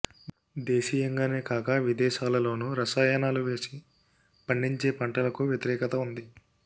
దేశీయంగానే కాక విదేశాలలోనూ రసాయనాలు వేసి పండించే పంటలకు వ్యతిరేకత ఉంది